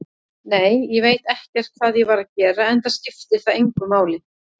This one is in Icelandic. Nei, ég veit ekkert hvað ég var að gera, enda skiptir það engu máli.